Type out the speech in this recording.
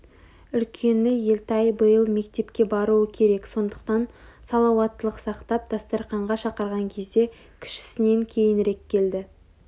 Үлкені елтай биыл мектепке баруы керек сондықтан салауаттылық сақтап дастарқанға шақырған кезде кішісінен кейінірек келді